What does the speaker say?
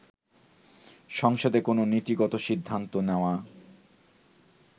সংসদে কোন নীতিগত সিদ্ধান্ত নেওয়া